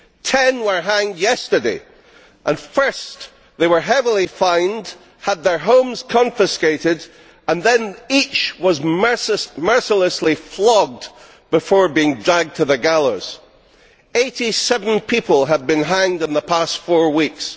Ten were hanged yesterday first, they were heavily fined and had their homes confiscated, and then each was mercilessly flogged before being dragged to the gallows. Eighty seven people have been hanged in the past four weeks.